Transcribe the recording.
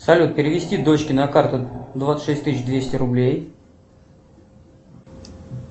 салют перевести дочке на карту двадцать шесть тысяч двести рублей